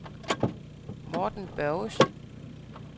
Morten Børgesen